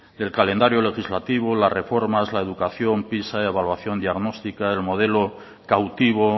el calendario legislativo las reformas la educación pisa evaluación diagnóstica el modelo cautivo